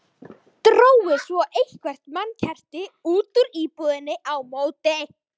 Drógu svo eitthvert mannkerti út úr íbúðinni á móti.